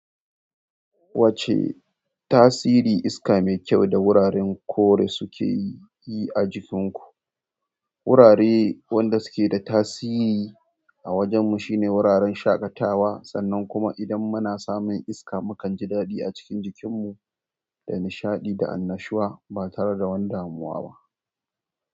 Wacce tasiri iska mai kyau da wuraren kore suke yi a jikin ku? Wurare wanda suke da tasiri a wajen mu shine wuraren shaƙatawa, sannan kuma idan muna samun iska mukan ji daɗi a cikin jikin mu, da nishaɗi da annashuwa ba tare da wani damuwa ba.